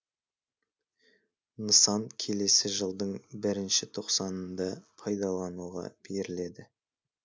нысан келесі жылдың бірінші тоқсанында пайдалануға беріледі